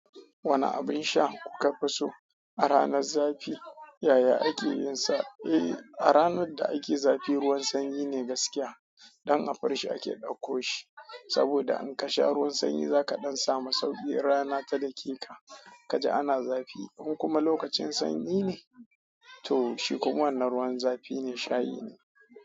Wane abin sha, kuka fi so a ranar zafi yaya ake yin sa? Eh, a ranar da ake zafi ruwan sanyi ne gaskiya. Dan a firish ake ɗakko shi. Saboda in ka sha ruwan sanyi zaka ɗan samu sauƙi rana ta daki ka. Kaji ana zafi, in kuma lokacin sanyi ne, to shi kuma wannan ruwan zafi ne shayi ne.